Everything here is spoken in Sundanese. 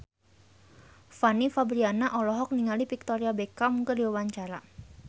Fanny Fabriana olohok ningali Victoria Beckham keur diwawancara